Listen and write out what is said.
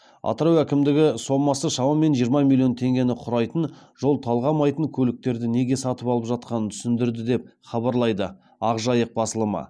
атырау әкімдігі сомасы шамамен жиырма миллион теңгені құрайтын жол талғамайтын көліктерді неге сатып алып жатқанын түсіндірді деп хабарлайды ақ жайық басылымы